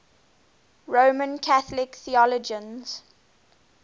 roman catholic theologians